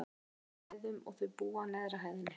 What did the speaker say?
Það er á tveimur hæðum, og þau búa á neðri hæðinni.